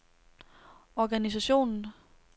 organisationen